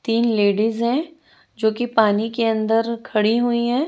तीन लेडिज है जोकि पानी के अंदर खड़ी हुई है।